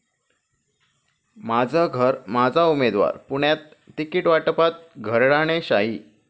माझं घर, माझा उमेदवार', पुण्यात तिकीटवाटपात घराणेशाही